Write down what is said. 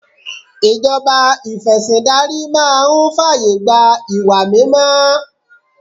Ìṣèjọba ìfẹ̀sìndarí máa ń fàyè gba ìwà mímọ́